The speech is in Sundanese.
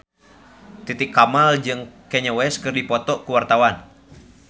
Titi Kamal jeung Kanye West keur dipoto ku wartawan